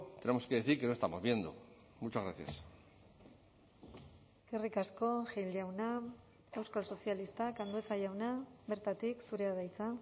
tenemos que decir que no estamos viendo muchas gracias eskerrik asko gil jauna euskal sozialistak andueza jauna bertatik zurea da hitza